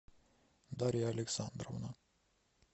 дарья александровна